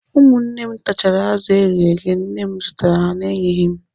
Ụmụnne m tachara azụ eghere eghe nne m zụtara na-enyeghị m